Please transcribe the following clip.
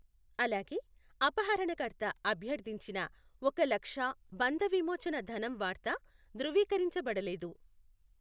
అలాగే, అపహరణకర్త అభ్యర్థించిన ఒక లక్షా బంధవిమోచన ధనం వార్త ధృవీకరించబడలేదు.